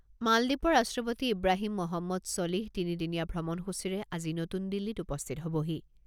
মালদ্বীপৰ ৰাষ্ট্ৰপতি ইব্ৰাহিম মহম্মদ ছলিহ তিনি দিনীয়া ভ্ৰমণসূচীৰে আজি নতুন দিল্লীত উপস্থিত হ'বহি।